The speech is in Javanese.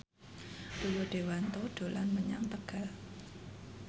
Rio Dewanto dolan menyang Tegal